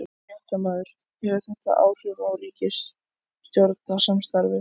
Fréttamaður: Hefur þetta áhrif á ríkisstjórnarsamstarfið?